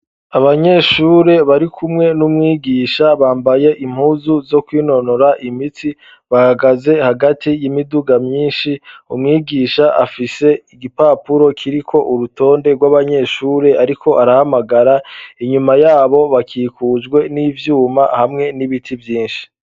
Abanyeshure bari kumwe n'umwigisha. Bambaye impuzu zo kwinonora imitsi, bahagaze hagati y'imiduga myinshi. Umwigisha afise igipapuro kiriko urutonde rw'abanyeshuri, ariko arahamagara, inyuma yabo bakikujwe n'ivyuma hamwe n'ibiti vyinshi.